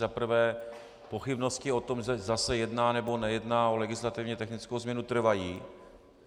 Za prvé pochybnosti o tom, zda se jedná, nebo nejedná o legislativně technickou změnu, trvají.